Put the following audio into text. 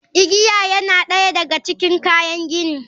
Igiya yana ɗaya daga cikin kayan gini.